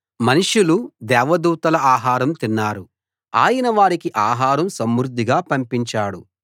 మనుషులు దేవదూతల ఆహారం తిన్నారు ఆయన వారికి ఆహారం సమృద్ధిగా పంపించాడు